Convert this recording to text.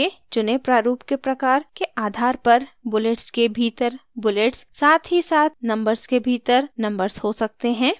यहाँ आपके चुने प्रारूप के प्रकार के आधार पर bullets के भीतर bullets साथ ही साथ numbers के भीतर numbers हो सकते हैं